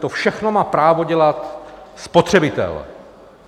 To všechno má právo dělat spotřebitel.